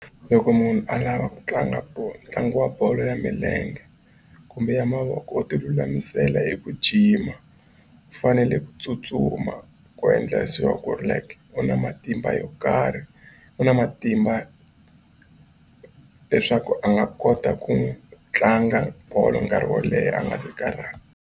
Loko munhu a lava ku tlanga bolo ntlangu wa bolo ya milenge kumbe ya mavoko u tilulamisela eku jima u fanele ku tsutsuma ku endla ku ri like u na matimba yo karhi u na matimba leswaku a nga kota ku tlanga bolo nkarhi wo leha a nga se karhala.